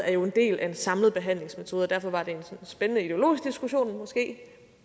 er en del af den samlede behandlingsmetode derfor var det en spændende ideologisk diskussion